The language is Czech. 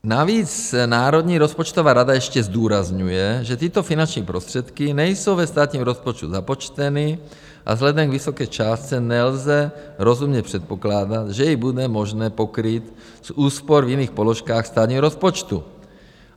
Navíc Národní rozpočtová rada ještě zdůrazňuje, že tyto finanční prostředky nejsou ve státním rozpočtu započteny a vzhledem k vysoké částce nelze rozumně předpokládat, že ji bude možné pokrýt z úspor v jiných položkách státního rozpočtu.